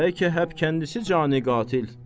Bəlkə həm kəndisi cani qatil.